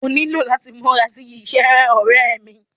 Ó nílò láti múra sí iṣẹ́, ọ̀rẹ́ ẹ́ mí.